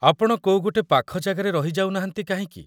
ଆପଣ କୋଉ ଗୋଟେ ପାଖ ଜାଗାରେ ରହି ଯାଉନାହାନ୍ତି କାହିଁକି?